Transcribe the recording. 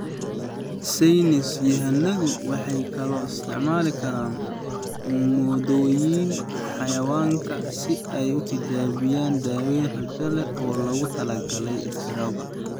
Saynis yahanadu waxay kaloo isticmaali karaan moodooyinka xayawaanka si ay u tijaabiyaan daawayn rajo leh oo loogu talagalay istaroogga.